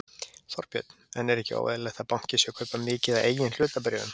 Þorbjörn: En er ekki óeðlilegt að banki sé að kaupa mikið af eigin hlutabréfum?